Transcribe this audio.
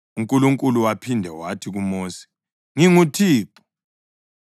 UNkulunkulu waphinda wathi kuMosi, “ NginguThixo.